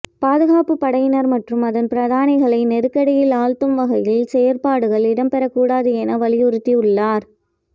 பாதுகாப்புப் படையினர் மற்றும் அதன் பிரதானிகளை நெருக்கடியில் ஆழ்த்தும் வகையில் செயற்பாடுகள் இடம்பெறக்கூடாது என வலியுறுத்தியுள்ளார்